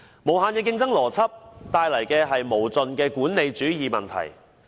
無限的競爭邏輯，帶來的是無盡的管理主義問題。